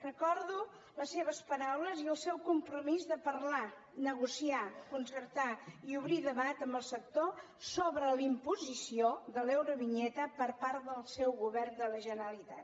recordo les seves paraules i el seu compromís de parlar negociar concertar i obrir debat amb el sector sobre la imposició de l’eurovinyeta per part del seu govern de la generalitat